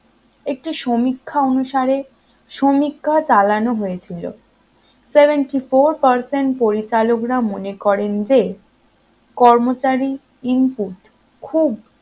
একটি সমীক্ষা অনুসারে সমীক্ষা চালানো হয়েছিল seventy four percent পরিচালকরা মনে করেন যে কর্মচারী input খুব